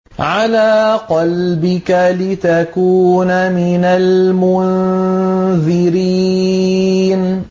عَلَىٰ قَلْبِكَ لِتَكُونَ مِنَ الْمُنذِرِينَ